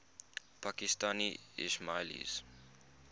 pakistani ismailis